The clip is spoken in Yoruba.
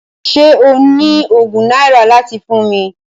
Ṣé o ní ogún náírà láti fún mi?